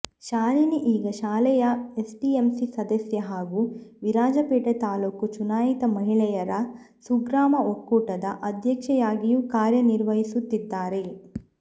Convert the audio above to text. ಶಾಲಿನಿ ಈಗ ಶಾಲೆಯ ಎಸ್ಡಿಎಂಸಿ ಸದಸ್ಯೆ ಹಾಗೂ ವಿರಾಜಪೇಟೆ ತಾಲ್ಲೂಕು ಚುನಾಯಿತ ಮಹಿಳೆಯರ ಸುಗ್ರಾಮ ಒಕ್ಕೂಟದ ಅಧ್ಯಕ್ಷೆಯಾಗಿಯೂ ಕಾರ್ಯ ನಿರ್ವಹಿಸುತ್ತಿದ್ದಾರೆ